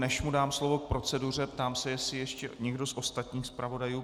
Než mu dám slovo k proceduře, ptám se, jestli ještě někdo z ostatních zpravodajů.